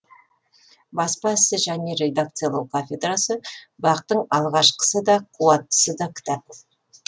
баспа ісі және редакциялау кафедрасы бақ тың алғашқысы да қуаттысы да кітап